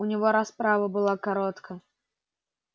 у него расправа была коротка